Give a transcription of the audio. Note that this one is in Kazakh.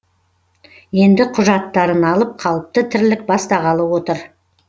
енді құжаттарын алып қалыпты тірлік бастағалы отыр